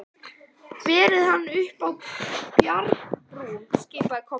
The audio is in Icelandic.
Berið hann upp á bjargbrún, skipaði Kobbi.